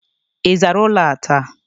Ị zara ụlọ a taa?